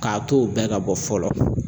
K'a to o bɛɛ ka bɔ fɔlɔ